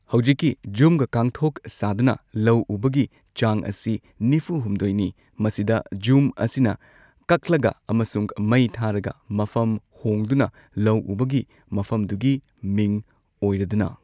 ꯍꯧꯖꯤꯛꯀꯤ, ꯓꯨꯝꯒꯥ ꯀꯥꯡꯊꯣꯛ ꯁꯥꯗꯨꯅ ꯂꯧ ꯎꯕꯒꯤ ꯆꯥꯡ ꯑꯁꯤ ꯅꯤꯐꯨ ꯍꯨꯝꯗꯣꯏ ꯅꯤ ꯃꯁꯤꯗ ꯓꯨꯝ ꯑꯁꯤꯅ ꯀꯛꯂꯒ ꯑꯃꯁꯨꯡ ꯃꯩ ꯊꯥꯔꯒ ꯃꯐꯝ ꯍꯣꯡꯗꯨꯅ ꯂꯧ ꯎꯕꯒꯤ ꯃꯐꯝꯗꯨꯒꯤ ꯃꯤꯡ ꯑꯣꯏꯔꯗꯨꯅ꯫